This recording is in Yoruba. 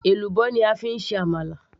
èlùbọ́ ni a fi ń ṣe àmàlà